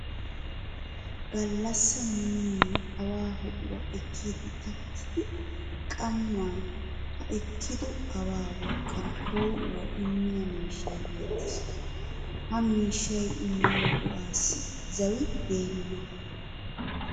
Gallassaa muumiya awaa ho'uwa ekkiiddi takkidi qammaa ha ekkido awaa wolqqan poo'uwa immiya miishshay beettees. Ha miishshay immiyo go'aassi zawi deenna.